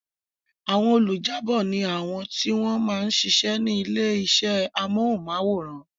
Àwọn olùjábọ̀ ni àwọn tí wọ́n ma ń sisẹ́ ní ilé iṣẹ́ amóhùnmáwòrán